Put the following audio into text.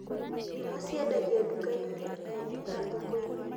Ndimũ ciendagio nduka-inĩ nene na thoko-ini